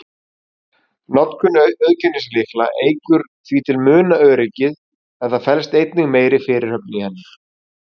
Notkun auðkennislykla eykur því til muna öryggið, en það felst einnig meiri fyrirhöfn í henni.